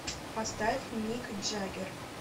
поставь мик джаггер